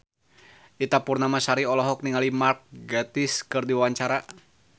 Ita Purnamasari olohok ningali Mark Gatiss keur diwawancara